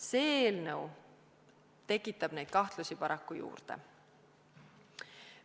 See eelnõu tekitab neid kahtlusi paraku juurde.